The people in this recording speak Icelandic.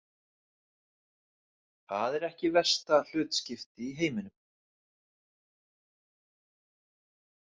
Það er ekki versta hlutskipti í heiminum.